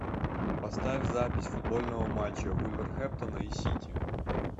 поставь запись футбольного матча вулверхэмптона и сити